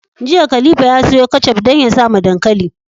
Jiya khalifa ya siyo ketchup dan ya sawa dankali